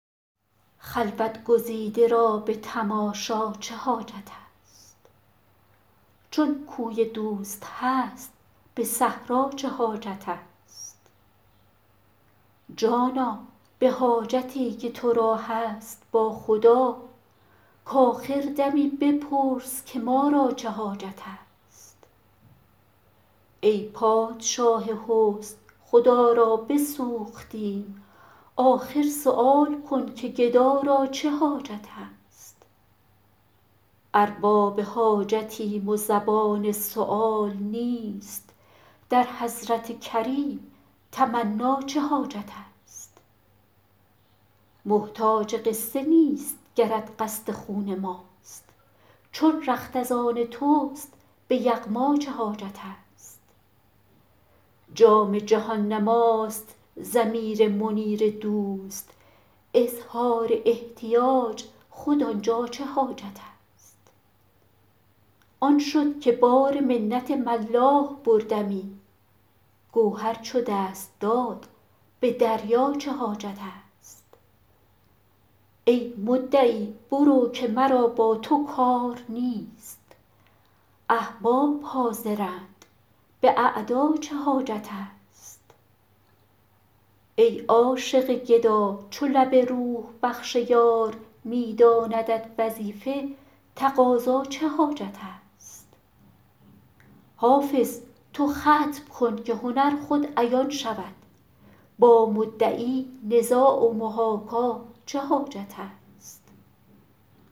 خلوت گزیده را به تماشا چه حاجت است چون کوی دوست هست به صحرا چه حاجت است جانا به حاجتی که تو را هست با خدا کآخر دمی بپرس که ما را چه حاجت است ای پادشاه حسن خدا را بسوختیم آخر سؤال کن که گدا را چه حاجت است ارباب حاجتیم و زبان سؤال نیست در حضرت کریم تمنا چه حاجت است محتاج قصه نیست گرت قصد خون ماست چون رخت از آن توست به یغما چه حاجت است جام جهان نماست ضمیر منیر دوست اظهار احتیاج خود آن جا چه حاجت است آن شد که بار منت ملاح بردمی گوهر چو دست داد به دریا چه حاجت است ای مدعی برو که مرا با تو کار نیست احباب حاضرند به اعدا چه حاجت است ای عاشق گدا چو لب روح بخش یار می داندت وظیفه تقاضا چه حاجت است حافظ تو ختم کن که هنر خود عیان شود با مدعی نزاع و محاکا چه حاجت است